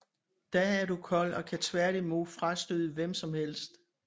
Da er du kold og kan tværtimod frastøde hvem som helst